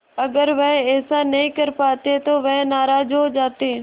अगर वह ऐसा नहीं कर पाते तो वह नाराज़ हो जाते